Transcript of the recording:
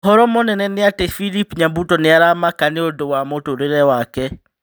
ũhoro mũnene nĩ ati philip nyabuto nĩ aramaka nĩũndũ wa mũtũrĩre wake